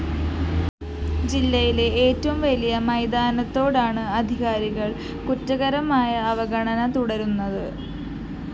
ജില്ലയിലെ ഏറ്റവും വലിയ മൈതാനത്തോാടാണ് അധികാരികള്‍ കുറ്റകരമായ അവഗണന തുടരുന്നത്